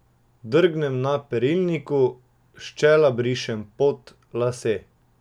Drgnem na perilniku, s čela brišem pot, lase.